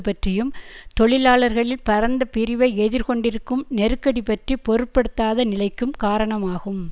பற்றியும் தொழிலாளர்களில் பரந்த பிரிவை எதிர்கொண்டிருக்கும் நெருக்கடி பற்றி பொருட்படுத்தாத நிலைக்கும் காரணம் ஆகும்